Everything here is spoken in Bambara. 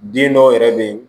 Den dɔw yɛrɛ bɛ yen